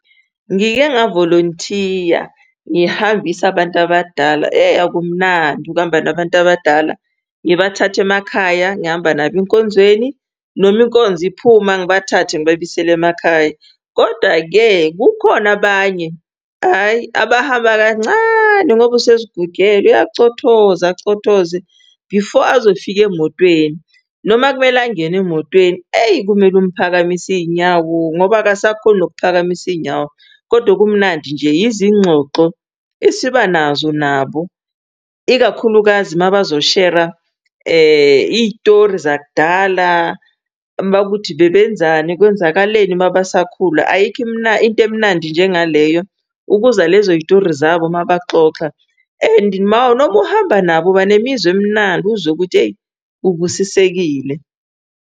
Ngike ngavolonthiya ngihambisa abantu abadala eyi akumnandi ukuhamba nabantu abadala. Ngibathathe emakhaya, ngihamba nabo enkonzweni noma inkonzo iphuma, ngibathathe ngibabuyisele emakhaya. Koda-ke kukhona abanye hhayi abahamba kancane ngoba usezigugela uyacothoza acothoze before azofika emotweni. Noma kumele angene emotweni eyi kumele umphakamise iy'nyawo ngoba akasakhoni nokuphakamisa iy'nyawo. Kodwa kumnandi nje izinxoxo esiba nazo nabo, ikakhulukazi mabazoshera iy'tori zakudala mawukuthi bebenzani kwenzakaleni uma basakhula. Ayikho into emnandi njengaleyo ukuzwa lezo yitori zabo uma baxoxa and noma uhamba nabo banemizwa emnandi uzwe ukuthi eyi ubusisekile.